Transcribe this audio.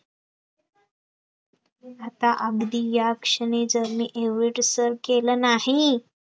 आता आगदी या क्षणी जर मी येविढ सर केलं नाही